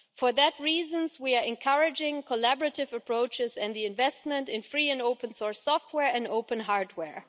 For those reasons we are encouraging collaborative approaches and investment in free and open source software and open hardware.